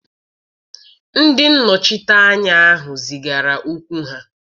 Ndị nnọchiteanya ahụ zigara okwu ha